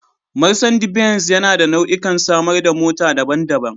Marsandi benz yana da nau'ikan samar da mota daban-daban.